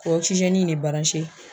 K'o ɔkisizɛni in ne baranse